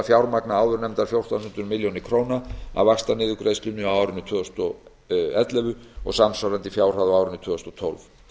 fjármagna áðurnefndar fjórtán hundruð milljóna króna af vaxtaniðurgreiðslunni á árinu tvö þúsund og ellefu og samsvarandi fjárhæð á árinu tvö þúsund og tólf